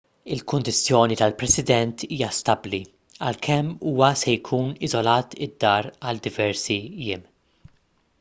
il-kundizzjoni tal-president hija stabbli għalkemm huwa se jkun iżolat id-dar għal diversi jiem